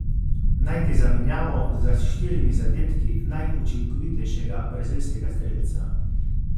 Najti zamenjavo za s štirimi zadetki najučinkovitejšega brazilskega strelca.